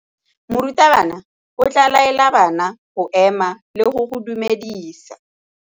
Morutabana o tla laela bana go ema le go go dumedisa.